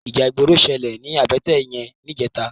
Íjà igbóró ṣëlé ni àbëtè yèn nijètá